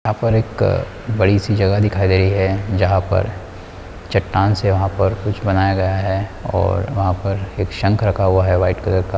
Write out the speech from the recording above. एक बड़ी सी जगह दिखाई दे रही है जहाँ पर चट्टान से वहाँ पर कुछ बनाया गया है और वहाँ पर एक संख रखा हुवा है वाइट कलर का और --